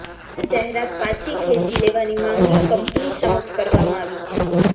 આ જાહેરાત પાછી ખેંચી લેવાની માગણી કંપની સમક્ષ કરવામાં આવી છે